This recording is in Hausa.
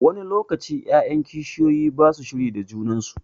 Wani lokaci 'ya'yan kishiyoyi ba su shiri da junan su.